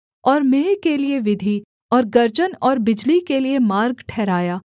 और मेंह के लिये विधि और गर्जन और बिजली के लिये मार्ग ठहराया